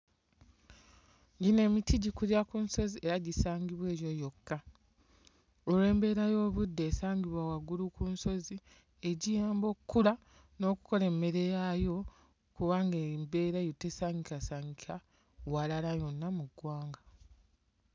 Gino emiti gikulira ku nsozi era gisangibwa eyo yokka olw'embeera y'obudde esangibwa waggulu ku nsozi egiyamba okkula n'okkola emmere yaayo kubanga embeera eyo tesangikasangika walala yonna mu ggwanga.